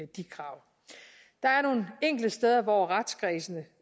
de krav der er nogle enkelte steder hvor retskredsene